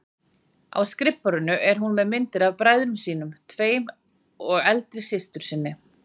Á skrifborðinu er hún með myndir af bræðrum sínum tveim og eldri systur sinni.